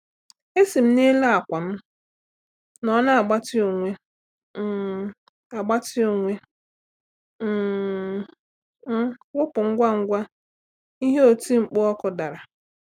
E si m n'elu àkwà m nọ na agbatị onwe um agbatị onwe um m wụpụ ngwa ngwa ihe oti mkpu ọkụ dara.